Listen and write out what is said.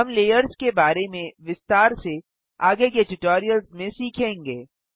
हम लेयर्स के बारे में विस्तार से आगे के ट्यूटोरियल्स में सीखेंगे